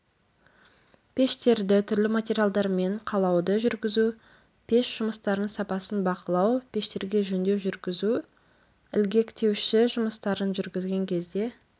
пештерді түрлі материалдармен қалауды жүргізу пеш жұмыстарының сапасын бақылау пештерге жөндеу жүргізу ілгектеуші жұмыстарын жүргізген кезде